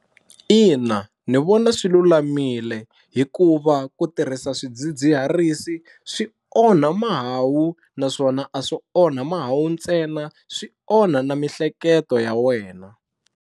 Ina ni vona swi lulamile hikuva ku tirhisa swidzidziharisi swi onha mahawu naswona a swo onha mahawu ntsena swi onha na miehleketo ya wena.